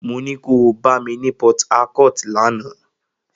Mo ní ko bá mi ní Port Harcourt lánàá!